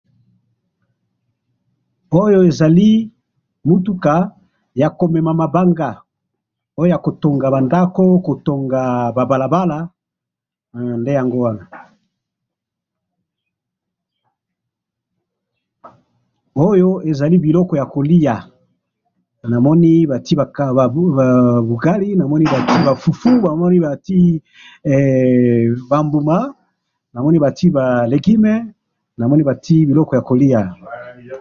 oyo ezali biloko ya kolya, namoni batie ba bugali, namoni ba fufu, namoni batie ba mbuma, namoni batie ba legumes, namoni batie biloko ya kolya